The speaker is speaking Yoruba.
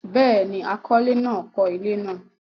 Béèni, akọ́lé náà kọ́ ilé náà